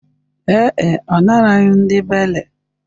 Ee e, ọ naraghị ndị beiley